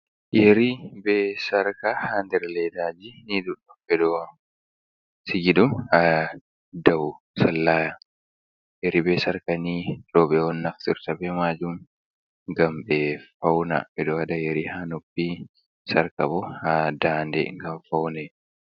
Yerii ɓe] sarka ha nder leedaajii ni ɗuɗɗum ɓe ɗo sigi dum ha dau sallaaya. Yeri ɓe sarka nii roobe un naftirta ɓe maajum ngam be fauna, ɓe ɗo wada yerii haa noppi, sarka bo ha ɗaanɗe ngam faune.